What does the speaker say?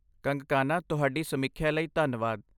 ਕੰਗਕਾਨਾ ਤੁਹਾਡੀ ਸਮੀਖਿਆ ਲਈ ਧੰਨਵਾਦ।